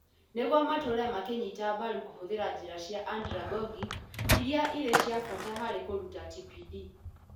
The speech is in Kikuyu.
Nĩguo matũũre makĩnyita mbaru kũhũthĩra njĩra cia (andra)gogic iria irĩ cia bata harĩ kũruta TPD.